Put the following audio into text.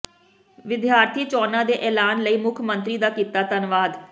ਵਿਦਿਆਰਥੀ ਚੋਣਾਂ ਦੇ ਐਲਾਨ ਲਈ ਮੁੱਖ ਮੰਤਰੀ ਦਾ ਕੀਤਾ ਧੰਨਵਾਦ